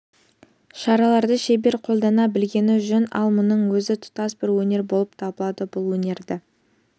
шараларды шебер қолдана білгені жөн ал мұның өзі тұтас бір өнер болып табылады бұл өнерді